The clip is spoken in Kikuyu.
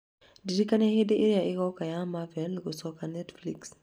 Ndirikanai hĩndĩ ĩrĩa ĩgoka ya marvel gũcoka Netflix